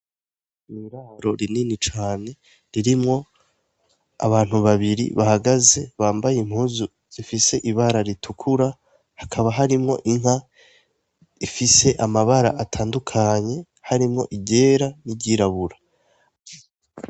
Iraro rinini cane ririmwo abantu babiri bahagaze bambaye impuzu zifis'ibara, ritukura hakaba harimwo inka ifis'amabara atandukanye harimwo iryera n'iryirabura.